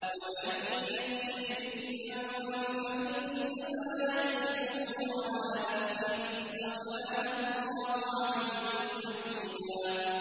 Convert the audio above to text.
وَمَن يَكْسِبْ إِثْمًا فَإِنَّمَا يَكْسِبُهُ عَلَىٰ نَفْسِهِ ۚ وَكَانَ اللَّهُ عَلِيمًا حَكِيمًا